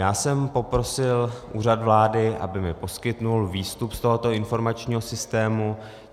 Já jsem poprosil Úřad vlády, aby mi poskytl výstup z tohoto informačního systému.